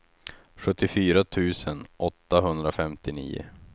sjuttiofyra tusen åttahundrafemtionio